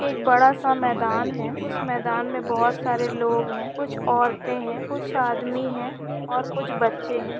एक बड़ा सा मैदान है उस मैदान मैं बहुत सरे लोग है कुछ औरते है कुछ आदमी है और कुछ बच्चे है।